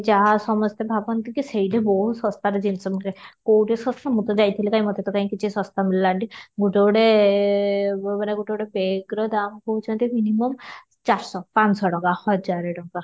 ଯାହା ସମସ୍ତେ ଭାବନ୍ତି କି ସେଇଠି ବହୁତ ଶସ୍ତାରେ ଜିନିଷ ମିଳେ କଉଠି ଶସ୍ତା ମୁଁ ତ ଯାଇଥିଲି କାଇଁ ମୋତେ କାଇଁ ଶସ୍ତା ମିଳିଲାନି ଗୋଟେ ଗୋଟେ ଏ କଉଠି ଗୋଟେ ଗୋଟେ bag ର ଦାମ ନେଉଛନ୍ତି minimum ଚାରି ଶହ ପାଞ୍ଚ ଶହ ଟଙ୍କା ହଜାରେ ଟଙ୍କା